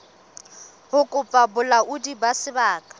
ho kopa bolaodi ba sebaka